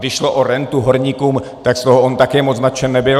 Když šlo o rentu horníkům, tak on z toho také moc nadšen nebyl.